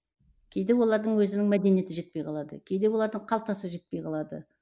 кейде олардың өзінің мәдениеті жетпей қалады кейде олардың қалтасы жетпей қалады